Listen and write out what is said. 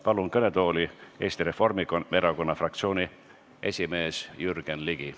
Palun kõnetooli Eesti Reformierakonna fraktsiooni esimehe Jürgen Ligi.